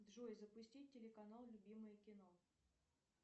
джой запустить телеканал любимое кино